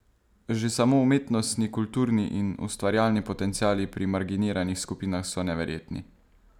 Že samo umetnostni, kulturni in ustvarjalni potenciali pri marginiranih skupinah so neverjetni.